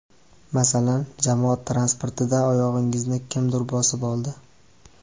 Masalan, jamoat transportida oyog‘ingizni kimdir bosib oldi.